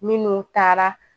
Minnu taara